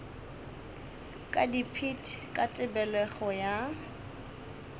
ka dipit ka tebelego ya